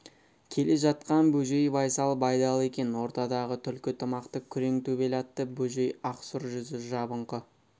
келе жатқан бөжей байсал байдалы екен ортадағы түлкі тымақты күрең төбел атты бөжей ақсұр жүзі жабыңқы